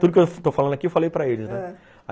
Tudo que eu estou falando aqui eu falei para eles, ãh